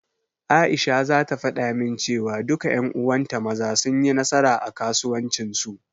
Aisha zata faɗa min cewa, duka ƴan uwanta Maza, sun yi nasara a kasuwancin su.